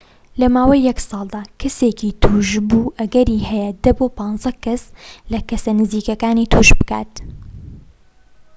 لە ماوەی یەك ساڵدا، کەسێکی توشبوو ئەگەری هەیە ١٠ بۆ ١٥ کەس لە کەسە نزیکەکانی توش بکات